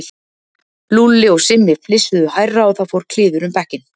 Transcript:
Lúlli og Simmi flissuðu hærra og það fór kliður um bekkinn.